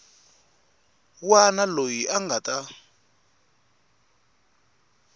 wana loyi a nga ta